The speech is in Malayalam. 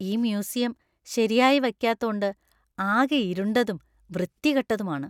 ഈ മ്യൂസിയം ശരിയായി വയ്ക്കാത്തോണ്ട് ആകെ ഇരുണ്ടതും, വൃത്തികെട്ടതുമാണ്.